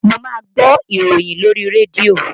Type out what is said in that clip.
Mo máa ń gbọ́ ìròyìn lórí rédíò